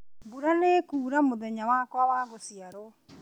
mbura nĩĩkuura mũthenya wakwa wa gũciarwo